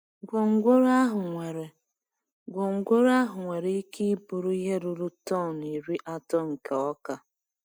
Gwongworo ahụ nwere Gwongworo ahụ nwere ike iburu ihe ruru tọn iri atọ nke ọka.